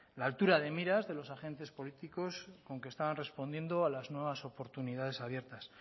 la altura de miras de los agentes políticos con que estaban respondiendo a las nuevas oportunidades abiertas